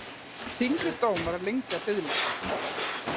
Þyngri dómar lengja biðlista